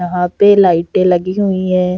यहाँ पे लाइटें लगी हुई हैं।